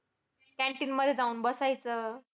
Canteen मध्ये जाऊन बसायचं